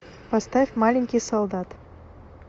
поставь маленький солдат